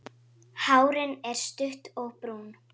Hárin er stutt og brún.